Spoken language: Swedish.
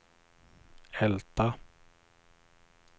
Älta